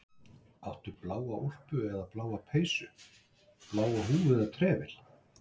Áttu bláa úlpu eða bláa peysu, bláa húfu eða trefil?